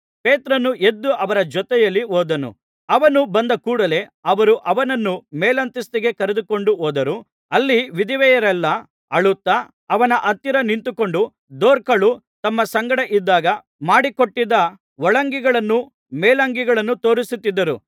ಪೇತ್ರನು ಎದ್ದು ಅವರ ಜೊತೆಯಲ್ಲಿ ಹೋದನು ಅವನು ಬಂದ ಕೂಡಲೆ ಅವರು ಅವನನ್ನು ಮೇಲಂತಸ್ತಿಗೆ ಕರೆದುಕೊಂಡು ಹೋದರು ಅಲ್ಲಿ ವಿಧವೆಯರೆಲ್ಲ ಅಳುತ್ತಾ ಅವನ ಹತ್ತಿರ ನಿಂತುಕೊಂಡು ದೊರ್ಕಳು ತಮ್ಮ ಸಂಗಡ ಇದ್ದಾಗ ಮಾಡಿಕೊಟ್ಟಿದ್ದ ಒಳಂಗಿಗಳನ್ನೂ ಮೇಲಂಗಿಗಳನ್ನೂ ತೋರಿಸಿದರು